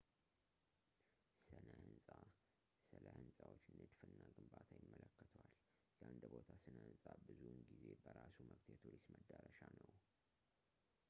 ስነ-ህንፃ ስለ ህንፃዎች ንድፍ እና ግንባታ ይመለከተዋል የአንድ ቦታ ስነ-ህንፃ ብዙውን ጊዜ በራሱ መብት የቱሪስት መዳረሻ ነው